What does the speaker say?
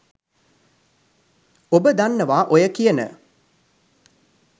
ඔබ දන්නවා ඔය කියන